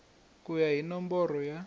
ku ya hi nomboro ya